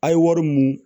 A' ye wari mun